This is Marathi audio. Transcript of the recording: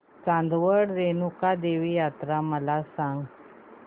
चांदवड रेणुका देवी यात्रा मला सांग